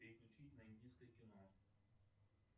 переключить на индийское кино